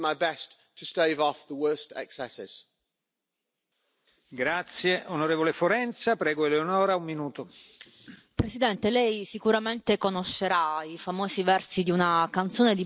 We cannot expect our creators to work for nothing and at the same time allow gigantic platforms like Facebook and Google, who respectively made profits of 16 and 12 billion in 2017 to profit from abusing the copyright works of our creators.